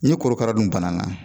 Ni korokara dun banana